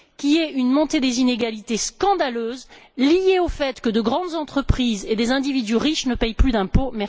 à savoir une montée des inégalités scandaleuse liée au fait que de grandes entreprises et des individus riches ne paient plus d'impôts.